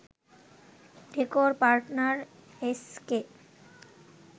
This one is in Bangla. decor partner SK